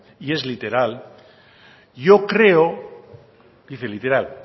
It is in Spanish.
y es literal